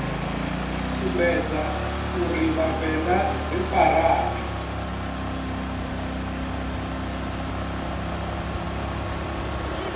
sumbedza uri vhavenḓa ri farane